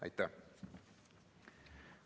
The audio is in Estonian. Aitäh!